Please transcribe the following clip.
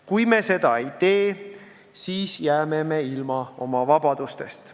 Kui me seda ei tee, siis jääme ilma oma vabadustest.